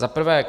Za prvé.